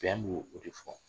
Bɛn b'o de fɔ.